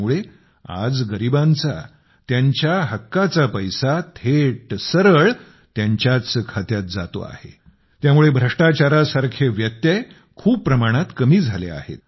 त्यामुळे आज गरिबांचा त्यांच्या हक्काचा पैसा थेट सरळ त्यांच्याच खात्यात जातो आहे त्यामुळे भ्रष्टाचारासारखे व्यत्यय खूप प्रमाणात कमी झाले आहेत